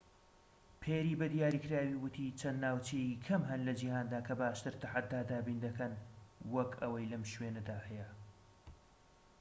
پێری بە دیاریکراوی وتی چەند ناوچەیەکی کەم هەن لە جیهاندا کە باشتر تەحەدا دابین دەکەن وەك ئەوەی لەم شوێنەدا هەیە